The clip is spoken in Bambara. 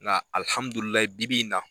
Nka bi-bi in na